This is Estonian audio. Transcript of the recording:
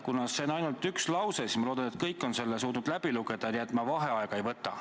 Kuna see on ainult üks lause, siis ma loodan, et kõik on selle suutnud läbi lugeda, nii et ma vaheaega ei võta.